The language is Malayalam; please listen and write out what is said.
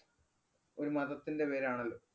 ഒരു മതത്തിന്‍റെ പേരാണല്ലോ.